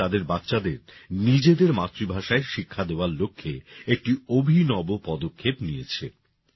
এই গ্রাম তাদের বাচ্চাদের নিজেদের মাতৃভাষায় শিক্ষা দেওয়ার লক্ষ্যে একটি অভিনব পদক্ষেপ নিয়েছে